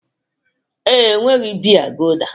Ee, enweghị biya gulda